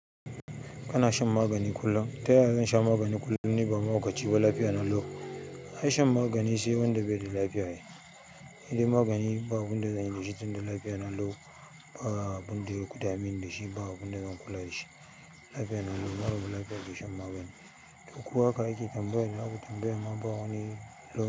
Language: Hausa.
Kana shan magani kullum. Ta yaya zan sha magani kullum ni ba mahaukaci ba lafiya na lau? Ai shan magani sai wanda beda lafiya ai nidai magani ba abinda zanyi dashi tinda lafiya na kau ba abun da ya kuda meni da shi ba abun da zan kula da shi lafiya nan lau mara lafiya ke shan magani to ku hak ake tambaya tambayar ma bawani lau.